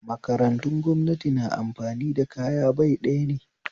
Makarantun gwamnati na amfani kaya bai ɗaya ne